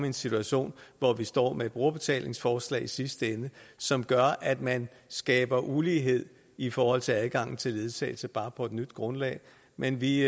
en situation hvor vi står med et brugerbetalingsforslag i sidste ende som gør at man skaber ulighed i forhold til adgangen til ledsagelse bare på et nyt grundlag men vi